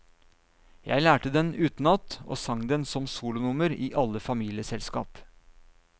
Jeg lærte den utenat og sang den som solonummer i alle familieselskap.